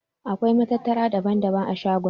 Akwai matattara daban-daban a shagon.